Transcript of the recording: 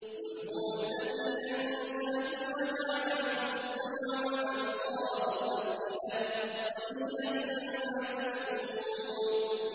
قُلْ هُوَ الَّذِي أَنشَأَكُمْ وَجَعَلَ لَكُمُ السَّمْعَ وَالْأَبْصَارَ وَالْأَفْئِدَةَ ۖ قَلِيلًا مَّا تَشْكُرُونَ